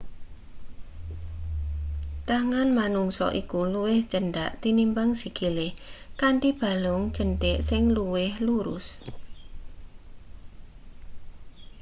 tangan menungsa iku luwih cendhak tinimbang sikile kanthi balung jenthik sing luwih lurus